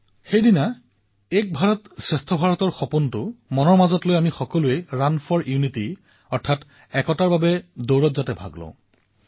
এক ভাৰতশ্ৰেষ্ঠ ভাৰত এয়া আমাৰ সকলোৰে সপোন আৰু সেই নিমিত্তে প্ৰতি বৰ্ষত ৩১ অক্টোবৰ তাৰিখে আমি সমগ্ৰ দেশত ৰাণ ফৰ ইউনিটী দেশৰ একতাৰ বাবে দৌৰো